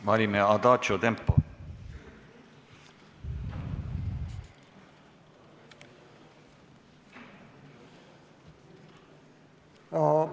Valime adaadžo tempo!